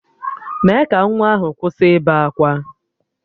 Mee ka nwa ahụ kwụsị ịbe akwa!